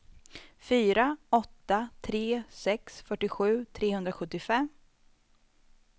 fyra åtta tre sex fyrtiosju trehundrasjuttiofem